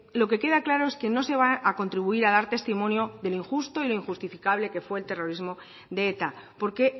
lo que queda claro es que no se va a contribuir a dar testimonio de lo injusto y lo injustificable que fue el terrorismo de eta porque